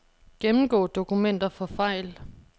Gennemgå dokumenter for fejl.